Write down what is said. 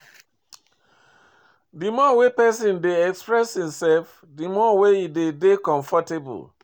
Di more wey person dey express im self di more im de dey comfortable